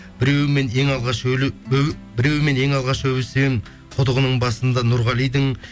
біреуімен ең алғаш құдығының басында нұрғалидың